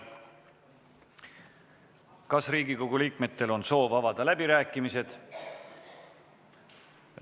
Kas Riigikogu liikmetel on soov avada läbirääkimised?